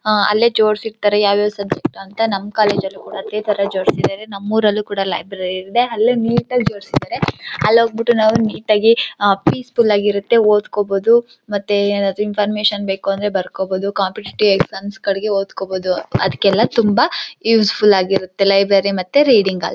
ಹಾ ಅಲ್ಲೇ ಜೋಡಿಸಿರ್ತಾರೆ ಯಾವ್ಯಾವ ಸಬ್ಜೆಕ್ಟ್ ಅಂತ ನಮ್ಮ್ ಕಾಲೇಜ್ ಲ್ಲು ಇದೆ ತರ ಜೋಡಿಸಿದ್ದಾರೆ ನಮ್ಮೂರಲ್ಲೂ ಲೈಬ್ರರಿ ಇದೆ ಅಲ್ಲೇ ನೀಟ್ ಆಗಿ ಜೋಡಿಸಿದ್ದಾರೆ ಅಲ್ಲಿ ಹೋಗ್ಬಿಟ್ಟು ನಾವು ನೀಟ್ ಆಗಿ ಪೀಸ್ ಫುಲ್ ಆಗಿರುತ್ತೆ ಓದ್ಕೊಬೋದು ಮತ್ತೆ ಏನಾದರೂ ಪರ್ಮಿಷನ್ ಬೇಕು ಅಂದ್ರೆ ಬರ್ಕೋಬೊದು ಕಾಂಪಿಟಿಟಿವ್ ಎಕ್ಸಾಮ್ ಗಳಿಗೆ ಓದ್ಕೊಬೋದು ಅದಕ್ಕೆಲ್ಲ ತುಂಬಾ ಯುಸ್ಫುಲ್ ಆಗಿರುತ್ತೆ ಲೈಬ್ರರಿ ಮತ್ತೆ ರೀಡಿಂಗ್ ಹಾಲ್ .--